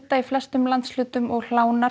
í flestum landshlutum og